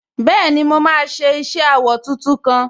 Bẹ́ẹ̀ni, mo máa ṣe iṣẹ awọ tuntun kan